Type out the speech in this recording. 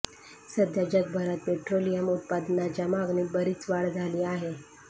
सध्या जगभरात पेट्रोलियम उत्पादनांच्या मागणीत बरीच वाढ झाली आहे